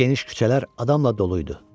Geniş küçələr adamla dolu idi.